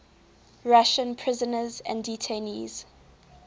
russian prisoners and detainees